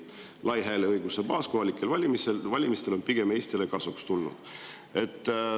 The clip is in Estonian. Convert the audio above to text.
Lai hääleõiguse baas kohalikel valimistel on pigem Eestile kasuks tulnud.